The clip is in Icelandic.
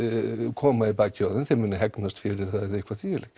koma í bakið á þeim þeim muni fyrir það eða eitthvað því um líkt